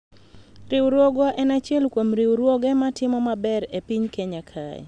riwruogwa en achiel kuom riwruoge matimo maber e piny Kenya kae